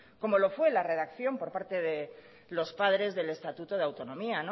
como lo fue en la redacción por parte de los padres del estatuto de autonomía